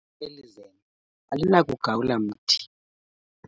eli zembe alinakugawula mthi.